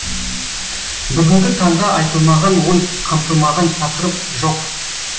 бүгінгі таңда айтылмаған ой қамтылмаған тақырып жоқ